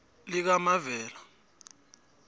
likamavela